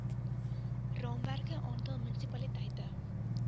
raamwerke aantal munisipaliteite